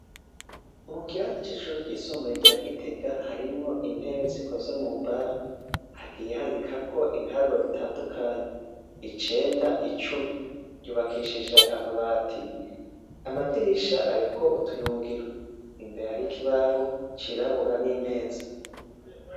Mukirasi cishure ryisumbuye rya gitega harimwo intebe zikoze mumbaho hagiye handikako ibiharuro bitandukanye icenda icumi ryubakishije amabati amadirisha ariko utuyungiro imbere hari ikibaho cirabura nimeza